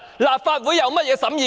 立法會有何審議權？